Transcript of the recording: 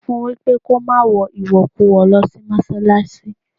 Sọ fún wípé kó má wọ ìwọ̀kuwọ̀ lọ sí Mọ́ṣálásí.